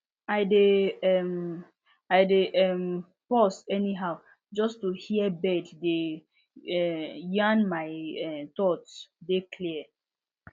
i dey um i dey um pause anyhow just to hear bird dey um yarn my um thoughts dey clear